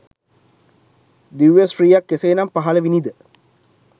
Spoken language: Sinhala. දිව්‍ය ශ්‍රීයක් කෙසේ නම් පහළ විණි ද?